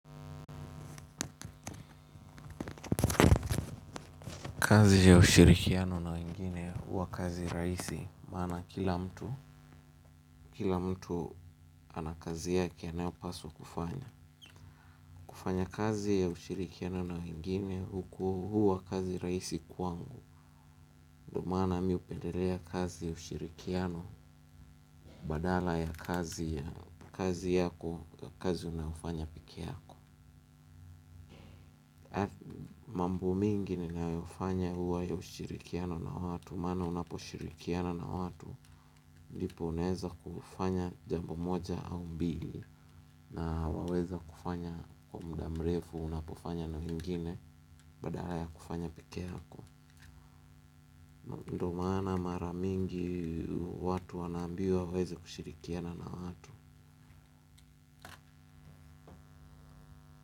Kazi ya ushirikiano na wengine huwa kazi rahisi, maana kila mtu, kila mtu ana kazi yake anayopaswa kufanya. Kufanya kazi ya ushirikiano na wengine huku huwa kazi rahisi kwangu. Ndio maana mi hupendelea kazi ya ushirikiano badala ya kazi ya kazi yako, kazi na unayofanya peke yako. Mambo mengi ninayofanya huwa ya ushirikiano na watu maana unaposhirikiana na watu ndipo unaweza kufanya jambo moja au mbili na waweza kufanya kwa muda mrefu unapofanya na wengine badala ya kufanya peke yako ndio maana mara mingi watu wanaambiwa waweze kushirikiana na watu.